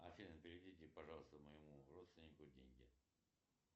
афина переведите пожалуйста моему родственнику деньги